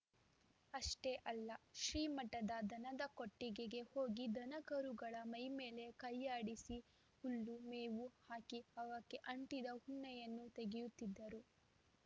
ಅಷ್ಟೇ ಅಲ್ಲ ಶ್ರೀಮಠದ ದನದ ಕೊಟ್ಟಿಗೆಗೆ ಹೋಗಿ ದನಕರುಗಳ ಮೈಮೇಲೆ ಕೈಯಾಡಿಸಿ ಹುಲ್ಲು ಮೇವು ಹಾಕಿ ಅವಕ್ಕೆ ಅಂಟಿದ ಉಣ್ಣೆಯನ್ನೂ ತೆಗೆಯುತ್ತಿದ್ದರು